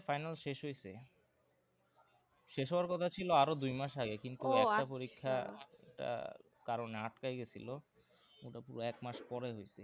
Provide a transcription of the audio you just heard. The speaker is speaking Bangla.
final শেষ হয়েছে শেষ হওয়ার কথা ছিল আরো দুই মাস আগে কিন্তু একটা পরীক্ষা টা কারণে আটকাই গেছিলো ওটা পুরো এক মাস পরে হয়েছে।